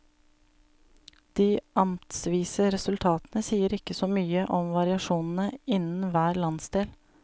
De amtsvise resultatene sier ikke så mye om variasjonene innen hver landsdel.